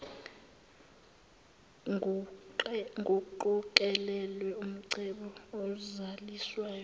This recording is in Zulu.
nkuqokelelwe umcebo ozaliswayo